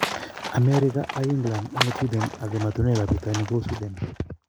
America ag england agoi ot sweden ag emotinwek ap pitonin kou sweden